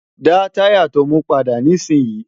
dá táyà to mú padà nísìn yìí!